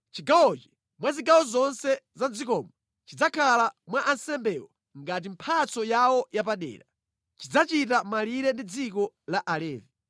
Chigawochi, mwa zigawo zonse za mʼdzikomo, chidzakhala kwa ansembewo ngati mphatso yawo yapadera. Chidzachita malire ndi dziko la Alevi.